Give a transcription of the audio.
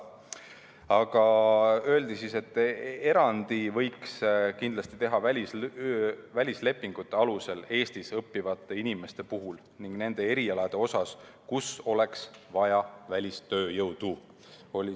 Aga öeldi, et erandi võiks kindlasti teha välislepingute alusel Eestis õppivate inimeste puhul ning nende erialade jaoks, kus oleks vaja välistööjõudu.